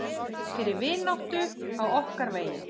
Fyrir vináttu á okkar vegi.